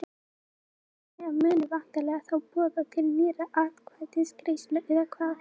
Hjörtur: Þannig að þið munuð væntanlega þá boða til nýrrar atkvæðagreiðslu eða hvað?